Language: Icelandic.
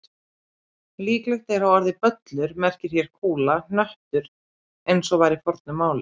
Líklegt er að orðið böllur merki hér kúla, hnöttur eins og var í fornu máli.